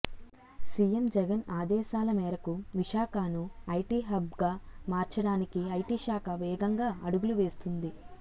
CM Jagan ఆదేశాల మేరకు విశాఖను ఐటీ హబ్గా మార్చడానికి ఐటీ శాఖ వేగంగా అడుగులు వేస్తోంది